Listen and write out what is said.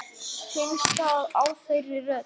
Finnst það á þeirri stund.